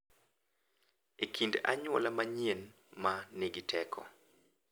E kind anyuola manyien ma nigi teko.